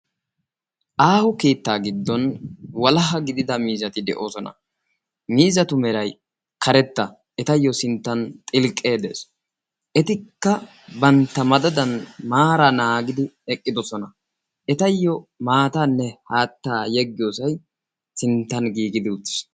Aaho keettaa giddon walaha gidida miizzati de'oosona. miizzatu meray karetta etayoo sinttan xilqqee dees. etikka bantta madadan maaraa naanggidi eqqidosona. etayoo maataanne haattaa yeggiyoosay sinttan giiggidi uttiis.